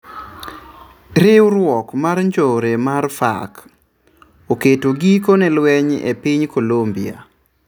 Riuruok mar njore mar FARC oketo giko ne lweny epiny Colombia.